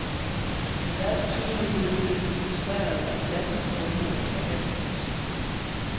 Med al tydelighed blev det demonstreret, at jazzens grundvæsen er dansemusik.